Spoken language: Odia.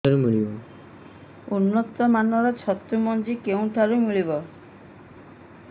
ଉନ୍ନତ ମାନର ଛତୁ ମଞ୍ଜି କେଉଁ ଠାରୁ ମିଳିବ